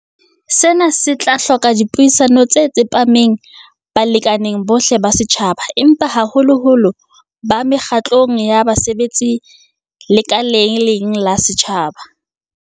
Sena se tla hloka dipuisano tse tsepameng balekaneng bohle ba setjhaba, empa haholoholo ba mekgatlong ya basebetsi e lekaleng la setjhaba.